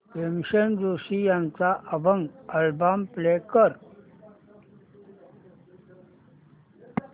भीमसेन जोशी यांचा अभंग album play कर